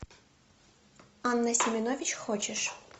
анна семенович хочешь